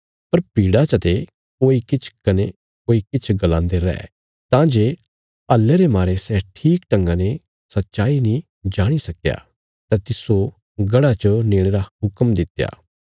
पर भीड़ा चते कोई किछ कने कोई किछ गलांदे रै तां जे हल्ले रे मारे सै ठीक ढंगा ने सच्चाई नीं जाणी सकया तां तिस्सो गढ़ा च नेणे रा हुक्म दित्या